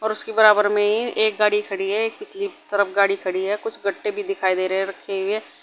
और उसके बराबर में एक गाड़ी खड़ी है दूसरी तरफ भी गाड़ी खड़ी है कुछ कट्टे भी दिखाई दे रहे है रखे हुए।